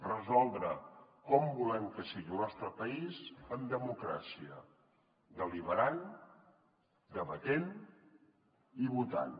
resoldre com volem que sigui el nostre país en democràcia deliberant debatent i votant